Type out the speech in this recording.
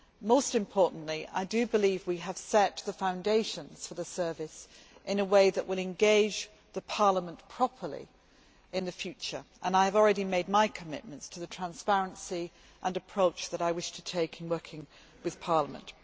Most importantly, I believe we have set the foundations for the service in a way that will engage Parliament properly in the future, and I have already made my commitments to transparency and the approach that I wish to take in working with Parliament.